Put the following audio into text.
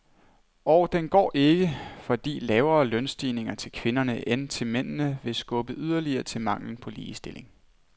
Og den går ikke, fordi lavere lønstigninger til kvinderne end til mændene vil skubbe yderligere til manglen på ligestilling.